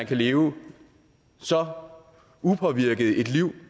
kan leve så upåvirket et liv